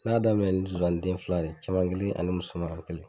Ne y'a daminɛ ni zonzannin den fila de ye, cɛman kelen ani musoman kelen.